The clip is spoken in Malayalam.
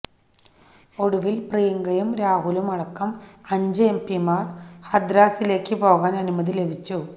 ഒടുവിൽ പ്രിയങ്കയും രാഹുലും അടക്കം അഞ്ച് എംപിമാർക്ക് ഹത്രാസിലേക്ക് പോകാൻ അനുമതി ലഭിച്ചു